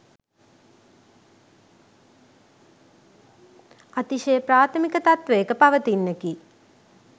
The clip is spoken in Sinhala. අතිශය ප්‍රාථමික තත්ත්වයක පවතින්නකි